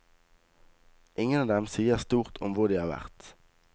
Ingen av dem sier stort om hvor de har vært.